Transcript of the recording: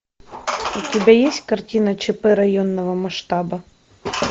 у тебя есть картина чп районного масштаба